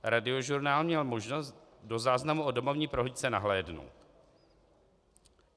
Radiožurnál měl možnost do záznamu o domovní prohlídce nahlédnout.